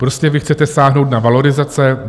Prostě vy chcete sáhnout na valorizace.